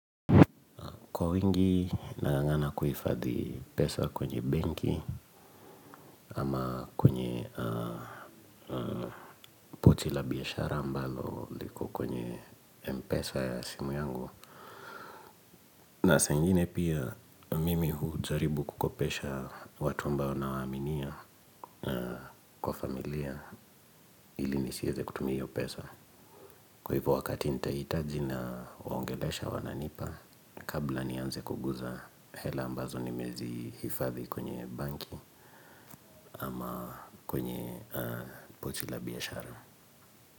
Kwa wingi nang'ang'ana kuhifadhi pesa kwenye benki ama kwenye Pochi la biashara ambalo liko kwenye mpesa ya simu yangu. Na saa ingine pia mimi hujaribu kukopesha watu ambao nawaaminia kwa familia ili nisiweze kutumia hiyo pesa. Kwa hivyo wakati nita hitaji na waongelesha wananipa kabla nianze kuguza hela ambazo nimezi hifadhi kwenye banki. Ama kwenye pochi la biashara.